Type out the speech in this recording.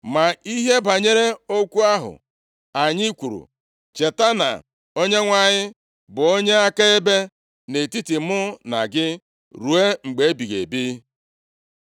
Ma ihe banyere okwu ahụ anyị kwuru, cheta na Onyenwe anyị bụ onye akaebe, nʼetiti mụ na gị ruo mgbe ebighị ebi.”